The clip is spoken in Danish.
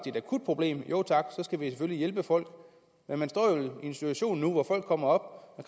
et akut problem så skal vi selvfølgelig hjælpe folk men man står jo en situation nu hvor folk kommer